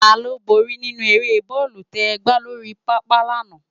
Táló bóri ninú ëré bòlú tè gbá lóri pápá làná?